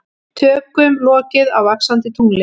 Tökum lokið á Vaxandi tungli